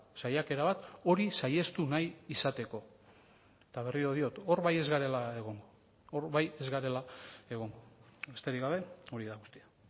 saiakera bat hori saihestu nahi izateko eta berriro diot hor bai ez garela egongo hor bai ez garela egongo besterik gabe hori da guztia